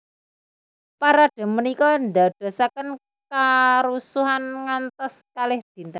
Parade punika ndadosaken karusuhan ngantos kalih dinten